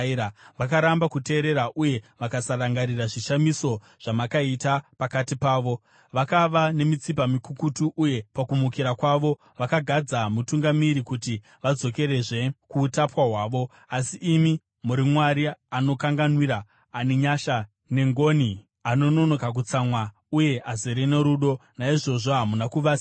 Vakaramba kuteerera uye vakasarangarira zvishamiso zvamakaita pakati pavo. Vakava nemitsipa mikukutu uye pakumukira kwavo vakagadza mutungamiri kuti vadzokere kuutapwa hwavo. Asi imi muri Mwari anokanganwira, ane nyasha nengoni, anononoka kutsamwa uye azere norudo. Naizvozvo hamuna kuvasiya,